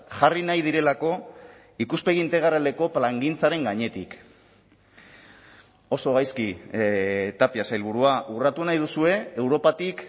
jarri nahi direlako ikuspegi integraleko plangintzaren gainetik oso gaizki tapia sailburua urratu nahi duzue europatik